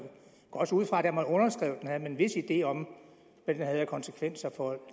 også ud fra at da man underskrev den havde man en vis idé om hvad den havde af konsekvenser for